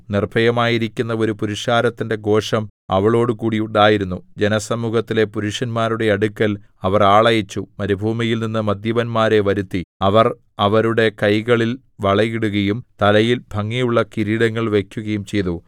നിർഭയമായിരിക്കുന്ന ഒരു പുരുഷാരത്തിന്റെ ഘോഷം അവളോടുകൂടി ഉണ്ടായിരുന്നു ജനസമൂഹത്തിലെ പുരുഷന്മാരുടെ അടുക്കൽ അവർ ആളയച്ച് മരുഭൂമിയിൽനിന്നു മദ്യപന്മാരെ വരുത്തി അവർ അവരുടെ കൈകളിൽ വളയിടുകയും തലയിൽ ഭംഗിയുള്ള കിരീടങ്ങൾ വയ്ക്കുകയും ചെയ്തു